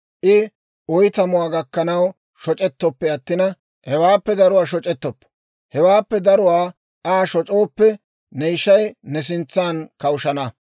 I oytamuwaa gakkanaw shoc'ettoppe attina, hewaappe daruwaa shoc'ettoppo. Hewaappe daruwaa Aa shoc'ooppe, ne ishay ne sintsan kawushshana.